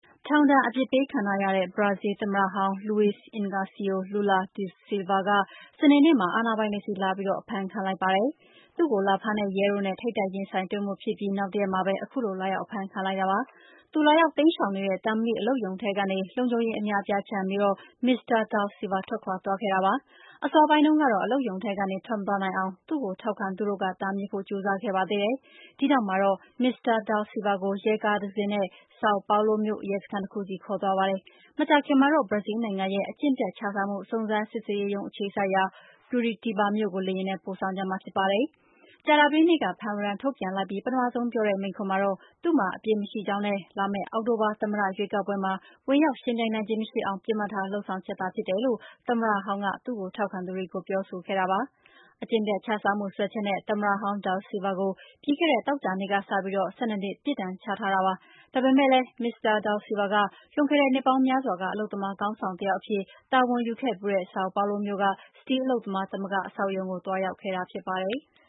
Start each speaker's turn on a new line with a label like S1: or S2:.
S1: ထောင်ဒဏ်ပြစ်ဒဏ်ချခံထားရတဲ့ ဘရာဇီးလ်သမ္မတဟောင်း Luiz Inacio Lula da Silva ဟာ စနေနေ့မှာ အာဏာပိုင်တွေဆီလာရောက်အဖမ်းခံလိုက်ပါပြီ။ သူ့ကိုလာဖမ်းတဲ့ ရဲတို့ကို ထိပ်တိုက်ရင်ဆိုင်မှုဖြစ်အပြီး နောက်တရက်မှာပဲ ခုလိုလာရောက်အဖမ်းခံလိုက်တာပါ။ သူလာရောက် တိမ်းရှောင်နေတဲ့ သံမဏိအလုပ်ရုံထဲကနေ လုံခြုံရေး အများအပြား ခြံရံပြီး မစ္စတာ Lula da Silva ထွက်ခွါသွားခဲ့တာပါ။ အစောပိုင်းတုန်းကတော့ အလုပ်ရုံထဲကနေ ထွက်မသွားနိုင်အောင် သူ့ကိုထောက်ခံသူတို့ တားမြစ်ဖို့ ကြိုးစားခဲ့ပါသေးတယ်။ ဒီနောက်မှာတော့ မစ္စတာ Lula da Silva ကို ရဲကားတစင်းနဲ့ Sao Paolo မြို့ရဲစခန်းတခုဆီခေါ်သွားပါတယ်။ မကြာခင်မှာတော့ ဘရာဇီးလ်နိုင်ငံရဲ့ အကျင့်ပျက်ခြစားမှု စုံစမ်းစစ်ဆေးရေးရုံး အခြေစိုက်ရာ Curitiba မြို့ကို လေယာဉ်နဲ့ပို့ဆောင်ကြမှာဖြစ်ပါတယ်။ ကြာသပတေးနေ့က ဖမ်းဝရမ်းထုတ်ပြန်လိုက်ပြီး ပထမဆုံးပြောတဲ့မိန့်ခွန်းမှာတော့ သူ့မှာ အပြစ်မရှိကြောင်းနဲ့ လာမယ့် အောက်တိုဘာ သမ္မတရွေးကောက်ပွဲမှာ ဝင်ရောက်ယှဉ်ပြိုင်နိုင်ခြင်းမရှိအောင် ပစ်မှတ်ထားလုပ်ဆောင်ချက်သာဖြစ်တယ်လို့ သမ္မတဟောင်း da Silva ကသူ့ကိုထောက်ခံသူတွေကို ပြောဆိုခဲ့တာပါ။ အကျင့်ပျက်ခြစားမှုစွဲချက်နဲ့ သမ္မတဟောင်း da Silva ကို ပြီးခဲ့တဲ့ သောကြာနေ့ကစပြီး တရားရုံးက ၁၂ နှစ် ပြစ်ဒဏ်ချလိုက်တာပါ။ ဒါပေမယ့်လည်း မစ္စတာ da Silva က လွန်ခဲ့တဲ့နှစ်ပေါင်းများစွာက အလုပ်သမားခေါင်းဆောင်တယောက်အဖြစ် တာဝန်ယူခဲ့ဖူးတဲ့ Sao Paulo မြို့က စတီးလုပ်သားသမဂ္ဂအဆောက်အအုံမှာ သွားရောက်တိမ်းရှောင်နေခဲ့တာဖြစ်ပါတယ်။